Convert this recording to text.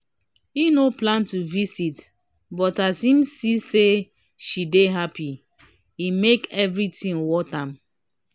e no plan to visit but as him see say she dey happy e make everything worth am